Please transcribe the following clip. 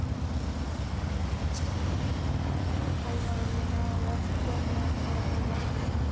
Álfarnir mínir hafa oft komið þegar ég hef lagt mig.